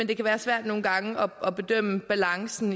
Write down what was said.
det kan være svært nogle gange at bedømme balancen